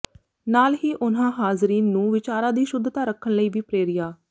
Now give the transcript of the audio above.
ਨਾਲ ਹੀ ਉਨ੍ਹਾਂ ਹਾਜ਼ਰੀਨ ਨੂੰ ਵਿਚਾਰਾਂ ਦੀ ਸ਼ੁੱਧਤਾ ਰੱਖਣ ਲਈ ਵੀ ਪ੍ਰੇਰਿਆ